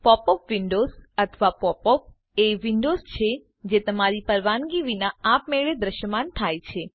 pop up windows અથવા pop અપો એ વિન્ડોવ્ઝ છે જે તમારી પરવાનગી વિના આપમેળે દ્રશ્યમાન થાય છે